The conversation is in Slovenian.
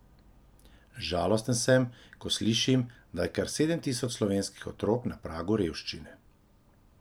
Žalosten sem, ko slišim, da je kar sedem tisoč slovenskih otrok na pragu revščine.